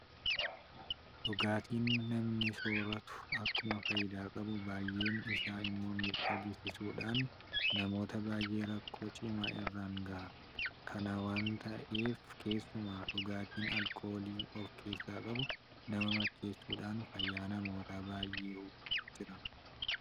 Dhugaatiin namni soorratu akkuma faayidaa qabu baay'een isaa immoo miidhaa geessisuudhaan namoota baay'ee rakkoo cimaa irraan gaha. Kana waanta ta'eef keessumaa dhugaatiin alkoolii ofkeessaa qabu nama macheessuudhaan fayyaa namoota baay'ee hubaa jira.